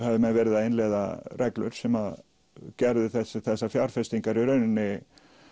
hafa menn verið að innleiða reglur sem gerðu þessar þessar fjárfestingar í rauninni